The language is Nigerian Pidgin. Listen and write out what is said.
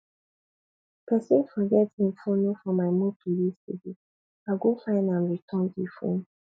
pesin forget im fono for my motor yesterday i go find am return di fone